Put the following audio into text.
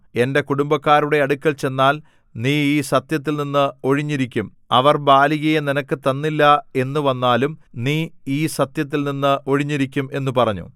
എന്റെ കുടുംബക്കാരുടെ അടുക്കൽ ചെന്നാൽ നീ ഈ സത്യത്തിൽനിന്ന് ഒഴിഞ്ഞിരിക്കും അവർ ബാലികയെ നിനക്ക് തന്നില്ല എന്നുവന്നാലും നീ ഈ സത്യത്തിൽനിന്ന് ഒഴിഞ്ഞിരിക്കും എന്നു പറഞ്ഞു